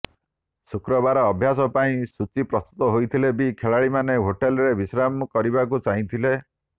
ଶୁକ୍ରବାର ଅଭ୍ୟାସ ପାଇଁ ସୂଚୀ ପ୍ରସ୍ତୁତ ହୋଇଥିଲେ ବି ଖେଳାଳିମାନେ ହୋଟେଲରେ ବିଶ୍ରାମ କରିବାକୁ ଚାହିଁଥିଲେ